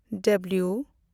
W